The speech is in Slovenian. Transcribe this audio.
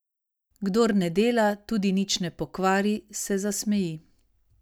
Kdor ne dela, tudi nič ne pokvari, se zasmeji.